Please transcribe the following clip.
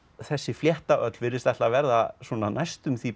þessi flétta öll virðist ætla að verða svona næstum því